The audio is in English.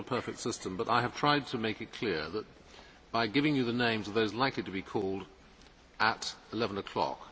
It is not a perfect system, but I have tried to make it clear by giving you the names of those likely to be called at 11 o'clock.